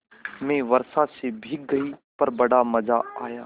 मैं वर्षा से भीग गई पर बड़ा मज़ा आया